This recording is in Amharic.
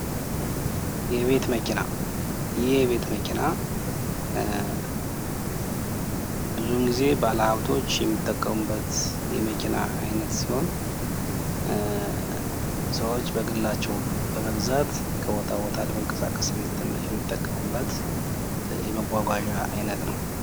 የቤት መኪና ይህ የቤት መኪና ብዙውን ጊዜ ባለሃብቶች የሚጠቀሙበት የመኪና አይነት ሲሆን ሰዎች በግላቸው በመግዛት ከቦታ ቦታ ለመንቀሳቀስ የሚጠቀሙበት የመጓጓዣ አይነት ነው።